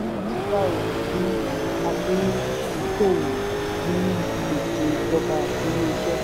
àdéhùn jẹ́ owó pàṣípààrọ̀ tí a fi ṣòwò nínú gbèsè ìjọba àti ilé iṣẹ́.